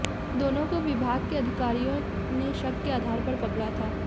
दोनों को विभाग के अधिकारियों ने शक के आधार पर पकड़ा था